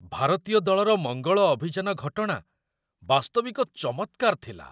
ଭାରତୀୟ ଦଳର ମଙ୍ଗଳ ଅଭିଯାନ ଘଟଣା ବାସ୍ତବିକ ଚମତ୍କାର ଥିଲା!